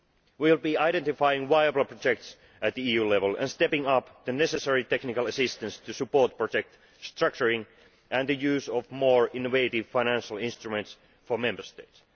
We will be identifying viable projects at EU level and stepping up the necessary technical assistance to support project structuring and the use of more innovative financial instruments for Member States.